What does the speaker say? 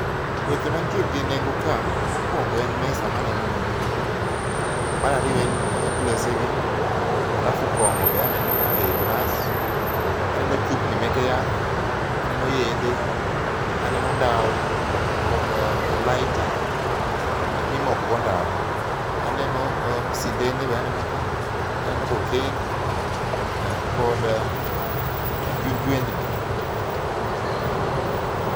Weche mantie gi nengo ka, mokuongo en mesa maneno ni, mar ariyo en glese gi, alafu kongo be aneno ei glas. Aneno chupni meke yath, aneno yedhe, aneno ndawa kod lighter mimoko go ndawa. Aneno, sindene be aneno ka. Aneno cocaine kod jwendni